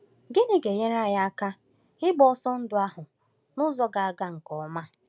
Gịnị ga-enyere anyị aka ịgba ọsọ ndụ ahụ n’ụzọ ga-aga nke ọma?